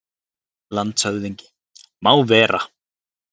LANDSHÖFÐINGI: Má vera!